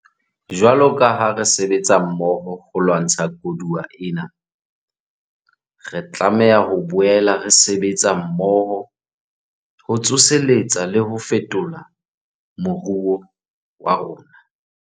Jwalo ka ha re sebetsa mmoho ho lwantsha koduwa ena, re tlameha ho boela re sebetsa mmoho ho tsoseletsa le ho fetola moruo wa rona.